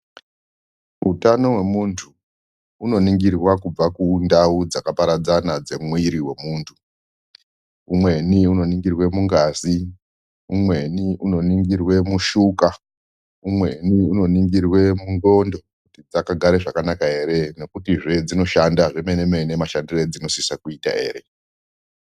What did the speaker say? Utano hwemuntu unoningirwa kubva kundau dzakaparadzana dzemuiri wemuntu, umweni unoningirwe mungazi, umweni unoningirwe mushuga, umweni unoningirwe mungondo kuti dzakagare zvakanaka ere nekuti zve dzinoshanda zvemene mene mashandire edzinosisa kuita ere.